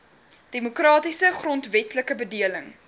demokratiese grondwetlike bedeling